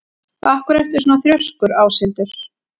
Af hverju ertu svona þrjóskur, Áshildur?